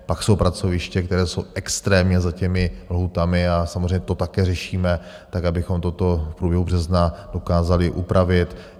Pak jsou pracoviště, které jsou extrémně za těmi lhůtami a samozřejmě to také řešíme tak, abychom toto v průběhu března dokázali upravit.